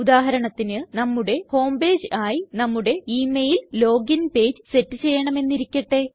ഉദാഹരണത്തിന് നമ്മുടെ home page ആയി നമ്മുടെ ഇമെയിൽ ലോഗിൻ പേജ് സെറ്റ് ചെയ്യണമെന്നിരിക്കട്ടെ